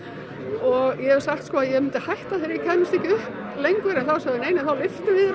og ég hef sagt sko að ég myndi hætta þegar ég kæmist ekki upp lengur en þá sögðu þeir neinei þá lyftum við